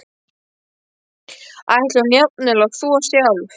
Ætlaði hún jafnvel að þvo sjálf?